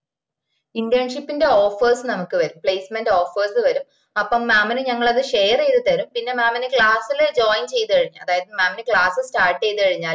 internship ന്റെ offers നമുക്ക് വരും placement offers വെരും അപ്പൊ mam ന് ഞങ്ങള് അത്‌ share ചെയ്ത് തരും പിന്ന mam ന്ന് class ന് join ചെയ്ത് കഴിഞ്ഞാ അതായത് mamclass start ചെയ്ത് കഴിഞ്ഞാല്